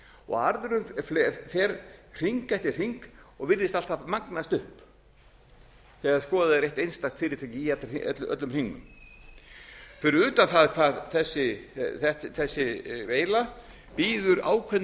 og arðurinn fer hring eftir hring og virðist alltaf magnast upp þegar skoðað er eitt einstakt fyrirtæki í öllum hringnum fyrir utan það hvað þessi veila býður ákveðnum